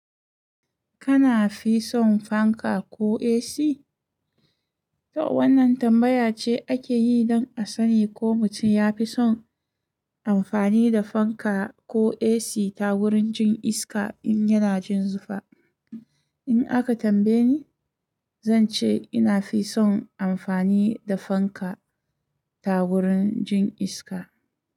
Kana fi son fanka ko AC? To wannan tambaya ce ake yi don a sani ko mutum ya fi son amfani da fanka ko AC ta wurin jin iska in yana jin zufa. In aka tambaye ni, zan ce ina fi son amfani da fanka ta wurin jin iska.